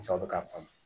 k'a faamu